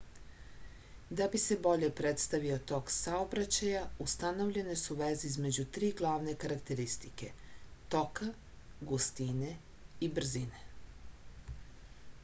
да би се боље представио ток саобраћаја установљене су везе између три главне карактеристике: 1 тока 2 густине и 3 брзине